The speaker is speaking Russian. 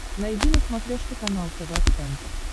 найди на смотрешке канал тв центр